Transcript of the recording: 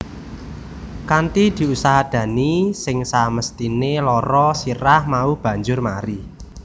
Kanthi diusadani sing samesthine lara sirah mau banjur mari